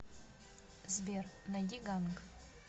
сбер найди ганк